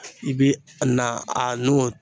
I bi na a n'o